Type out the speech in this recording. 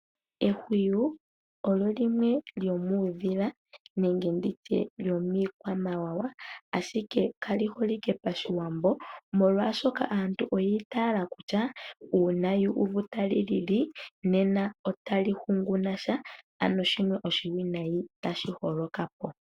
Ehwiyu olyo limwe lyomudhila nenge lyomiikwamawawa ashike kali holike pashiwambo molwaashoka aantu oyiitala kutya uuna yuuvu talilili nena otali hanguna sha ano oshiwinayi tashi holokapo.